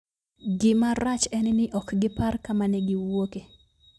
Gima rach en ni ok gipar kama ne gi wuoke.